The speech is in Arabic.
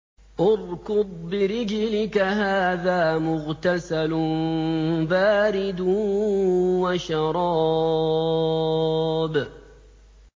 ارْكُضْ بِرِجْلِكَ ۖ هَٰذَا مُغْتَسَلٌ بَارِدٌ وَشَرَابٌ